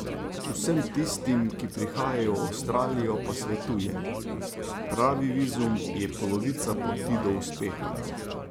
Vsem tistim, ki prihajajo v Avstralijo, pa svetuje: "Pravi vizum je polovica poti do uspeha.